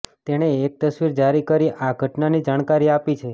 તેણે એક તસવીર જારી કરી આ ઘટનાની જાણકારી આપી છે